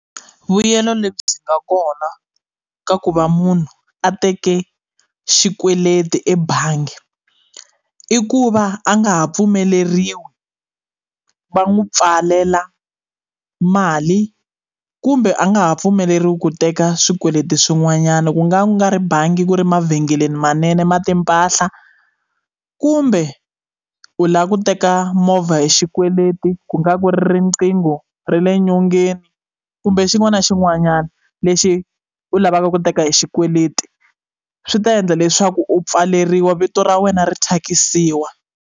Vuyelo lebyi nga kona ka ku va munhu a teke xikweleti ebangi i ku va a nga ha pfumeleriwi va n'wi pfalela mali kumbe a nga ha pfumeleriwi ku teka swikweleti swin'wanyana ku nga ku nga ri bangi ku ri mavhengeleni manene ma timpahla kumbe u lava ku teka movha hi xikweleti ku nga ku riqingho ra le nyongeni kumbe xin'wana na xin'wanyana lexi u lavaka ku teka hi xikweleti swi ta endla leswaku u pfaleriwa vito ra wena ri thyakisiwa.